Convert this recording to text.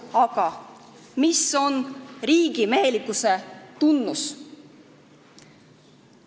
Aga mis on riigimehelikkuse tunnus?